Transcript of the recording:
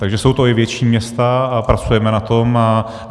Takže jsou to i větší města a pracujeme na tom.